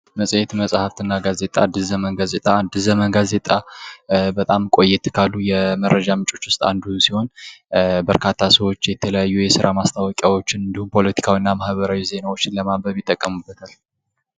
መፅሄት መፅሐፍት እና ጋዜጣ አዲስ ዘመን ጋዜጣ አዲስ ዘመን ጋዜጣ በጣም ቆየት ካሉ የመረጃ ምንጮች ዉስይ አንዱ ሲሆን መርካታ ሰዎች የተለያዩ የስራ ማስታወቂያዎን እንዲሁም ፖለቲካዊ እና ማህበራዊ ዜናዎችን ለማንበብ ይጠቀምበታል::